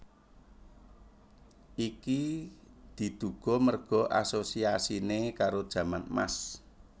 Iki diduga merga asosiasine karo jaman Emas